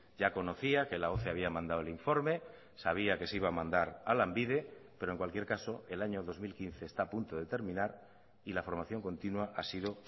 ya conocía que la había mandado el informe sabía que se iba a mandar a lanbide pero en cualquier caso el año dos mil quince está a punto de terminar y la formación continua ha sido